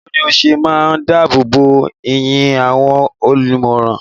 Bawo ni o se maa n dáàbò bo iyì àwọn ẹlòmíràn?